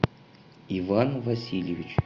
иван васильевич